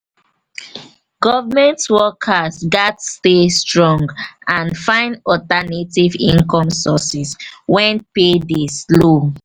government workers gats stay strong and find alternative income sources wen pay dey slow.